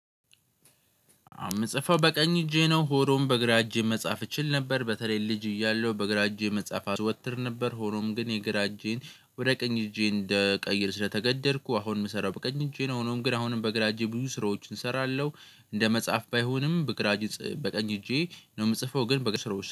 እምጽፈው በቀኝ እጄ ነው ሆኖም በእግራ እጄ መጻፍ እችል ነበር በተለይ ልጅ እያለሁ በግራ እጄ መጻፍ አዘወትር ነበር ሆኖም ግን የግራ እጄን ወደ ቀኝ እጄ እንደቀይር ስለተገደድኩ አሁን የምሰራው በቀኝ እጄ ነው ሆኖም ግን አሁንም በግራ እጄ ብዙ ስራዎችን እሰራለሁ። እንደ መጽሐፍ ባይሆንም በግራ በቀኝ እጄ ነው ምጽፈው ግን በግራ።